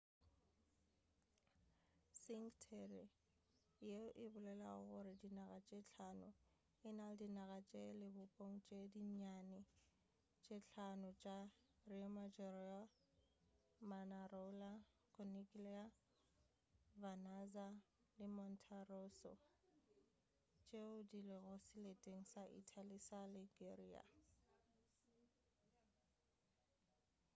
cinque terre yeo e bolelago gore dinaga tše hlano e na le dinaga tša lebopong tše dinnyane tše hlano tša riomaggiore manarola corniglia vernazza le monterosso tšeo di lego seleteng sa italy sa liguria